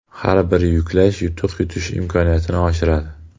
Har bir yuklash yutuq yutish imkoniyatini oshiradi.